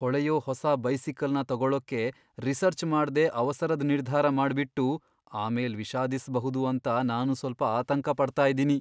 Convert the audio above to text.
ಹೊಳೆಯೋ ಹೊಸ ಬೈಸಿಕಲ್ನ ತಗೊಳ್ಳಕೆ ರಿಸರ್ಚ್ ಮಾಡ್ದೆ ಅವಸರದ್ ನಿರ್ಧಾರ ಮಾಡ್ಬಿಟ್ಟು ಆಮೇಲ್ ವಿಷಾದಿಸ್ಬಹುದು ಅಂತ ನಾನು ಸ್ವಲ್ಪ ಆತಂಕ ಪಡ್ತಾ ಇದ್ದೀನಿ.